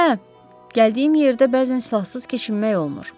Hə, gəldiyim yerdə bəzən silahsız keçinmək olmur.